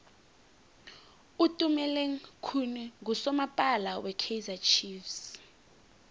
utumeleng khune nqusomapala we kaizer chiefs